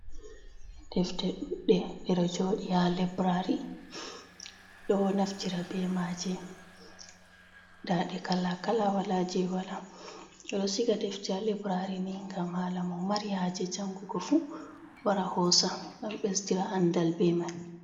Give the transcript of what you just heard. Ɗefte ɗuuɗɗe ɗeɗo joɗi ha lebrari. Ɗo naftira ɓe maje. Nɗaɗe kala kala wala je wala. Ɓe ɗo siga ɗefte ha lebrari ni ngam hala mo mari haje jangugo fu, wara hosa ngam ɓesɗira anɗal ɓe mai.